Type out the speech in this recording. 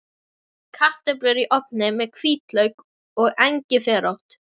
Kartöflur í ofni með hvítlauk og engiferrót